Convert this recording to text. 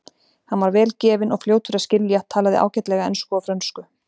Hann var vel gefinn og fljótur að skilja, talaði ágætlega ensku og frönsku.